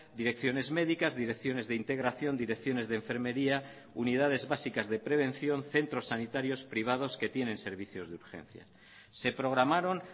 direcciones médicas direcciones de integración direcciones de enfermería unidades básicas de prevención centros sanitarios privados que tienen servicios de urgencia se programaron